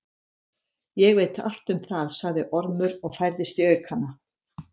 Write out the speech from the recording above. Ég veit allt um það, sagði Ormur og færðist í aukana.